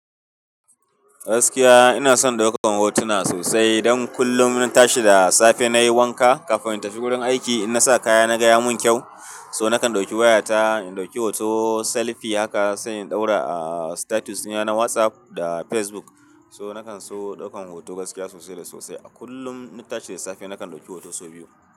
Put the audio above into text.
Gaskiya ina son ɗaukan hotuna sosai. Idan kullum ina tashi da safe nayi wanka kafin in tafi gurin aiki, idan nasa kaya na ga ya mun kyau. So nakan ɗauki wayata, in ɗauki hoto selfi haka sai in ɗaura a status na na WhatsApp da Facebook. So nakan so ɗaukan hoto gaskiya sosai da sosai. A kullum ina tashi da safe nakan ɗauki hoto sau biyu.